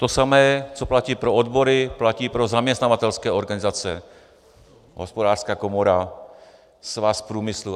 To samé, co platí pro odbory, platí pro zaměstnavatelské organizace - Hospodářská komora, Svaz průmyslu.